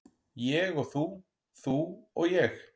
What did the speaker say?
Ég og þú, þú og ég.